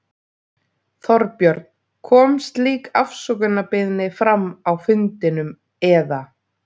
Þorbjörn: Kom slík afsökunarbeiðni fram á fundinum, eða?